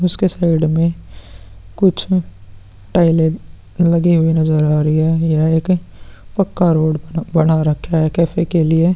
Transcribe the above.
उसके साइड में कुछ टाइले लगी हुई नजर आ रही है। यह एक पक्का रोड बना रखा है कैफे के लिए।